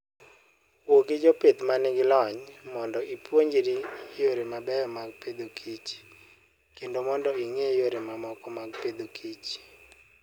Wuo gi jopith ma nigi lony mondo ipuonjri yore mabeyo mag Agriculture and Food, kendo mondo ing'e yore mamoko mag Agriculture and Food.